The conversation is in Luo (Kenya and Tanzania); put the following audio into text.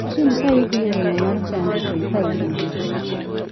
Kiny ka idhi e romo mar chadi to ikaw buge.